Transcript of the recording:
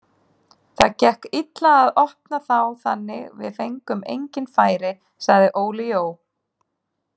Það gekk illa að opna þá þannig við fengum engin færi, sagði Óli Jó.